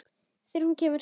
Þegar hún kemur.